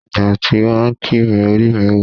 Ìgbà tí wọ́n kì mí orí mi wú.